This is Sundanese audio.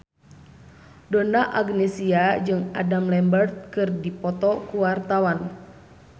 Donna Agnesia jeung Adam Lambert keur dipoto ku wartawan